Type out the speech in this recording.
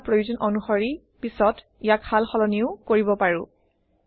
আমাৰ প্ৰয়োজন অনুসৰি পিছত ইয়াক সাল সলনিও কৰিব পাৰোঁ